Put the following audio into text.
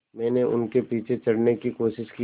मैंने उनके पीछे चढ़ने की कोशिश की